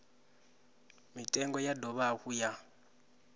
mitengo ya dovha hafhu ya